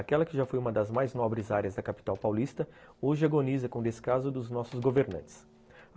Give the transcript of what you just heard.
Aquela que já foi uma das mais nobres áreas da capital paulista hoje agoniza com o descaso dos nossos governantes.